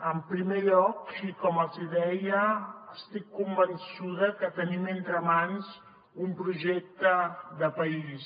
en primer lloc i com els hi deia estic convençuda que tenim entre mans un projecte de país